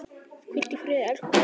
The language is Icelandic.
Hvíldu í friði, elsku Freddi.